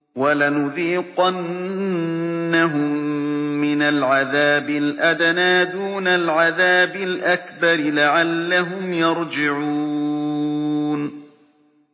وَلَنُذِيقَنَّهُم مِّنَ الْعَذَابِ الْأَدْنَىٰ دُونَ الْعَذَابِ الْأَكْبَرِ لَعَلَّهُمْ يَرْجِعُونَ